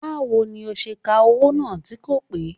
Báwo ni ó ṣe ka owó náà tí kò pé